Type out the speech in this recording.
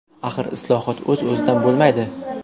Axir islohot o‘z-o‘zidan bo‘lmaydi.